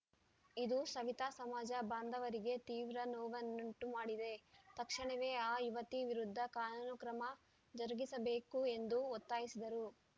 ಇದು ಸವಿತಾ ಸಮಾಜ ಬಾಂಧವರಿಗೆ ತೀವ್ರ ನೋವನ್ನುಂಟು ಮಾಡಿದೆ ತಕ್ಷಣವೇ ಆ ಯುವತಿ ವಿರುದ್ಧ ಕಾನೂನು ಕ್ರಮ ಜರುಗಿಸಬೇಕು ಎಂದು ಒತ್ತಾಯಿಸಿದರು